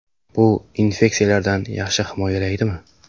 Bu infeksiyalardan yaxshi himoyalaydimi ?